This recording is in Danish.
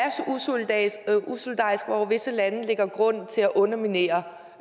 så usolidarisk og hvor visse lande lægger grund til at underminere